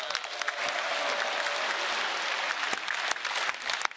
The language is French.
Merci Monsieur Freund, je ne suis pas sûre d'avoir apprécié vos rimes, mais